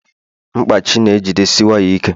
mkpachị na jidesie waya ike